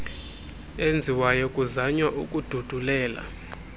enziwayo kuzanywa ukududulela